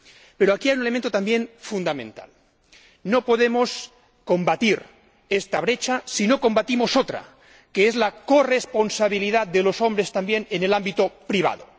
Pero aquí hay un elemento también fundamental no podemos combatir esta brecha si no combatimos otra, que es la corresponsabilidad de los hombres también en el ámbito privado.